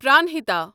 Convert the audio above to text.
پرانہتا